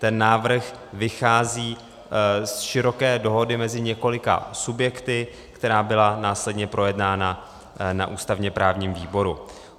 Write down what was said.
Ten návrh vychází z široké dohody mezi několika subjekty, která byla následně projednána na ústavně-právním výboru.